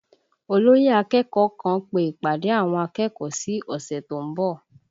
Olóyè akẹ́kọ̀ọ́ kan pe ìpàdé àwọn akẹ́kọ̀ọ́ sí ọ̀sẹ̀ tó ń bọ̀